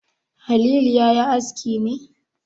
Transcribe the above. Halilu ya yi aski ne?